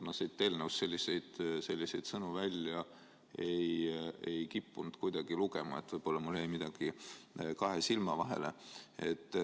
Ma siit eelnõust selliseid sõnu kuidagi välja ei lugenud, aga võib-olla mul jäi midagi kahe silma vahele.